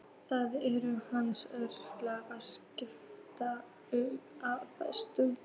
Það eru hans örlög að skyggnast um og fræðast.